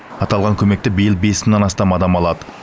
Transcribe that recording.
аталған көмекті биыл бес мыңнан астам адам алады